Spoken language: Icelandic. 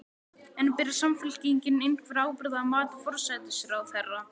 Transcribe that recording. En ber Samfylkingin einhverja ábyrgð að mati forsætisráðherra?